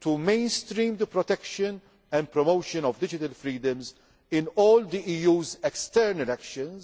to mainstreaming the protection and promotion of digital freedoms in all the EU's external actions,